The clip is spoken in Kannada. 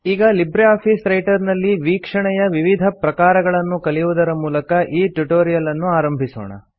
ಈಗ ಲಿಬ್ರೆ ಆಫೀಸ್ ರೈಟರ್ ನಲ್ಲಿ ವೀಕ್ಷಣೆಯ ವಿವಿಧ ಪ್ರಕಾರಗಳನ್ನು ಕಲಿಯುವುದರ ಮೂಲಕ ಈ ಟ್ಯುಟೋರಿಯಲ್ ಅನ್ನು ಆರಂಭಿಸೋಣ